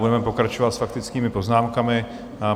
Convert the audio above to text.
Budeme pokračovat s faktickými poznámkami.